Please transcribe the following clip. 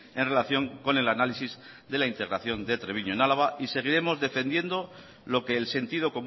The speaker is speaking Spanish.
en relación con el análisis de la integración de treviño en álava y seguiremos defendiendo lo que el sentido